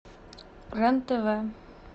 рен тв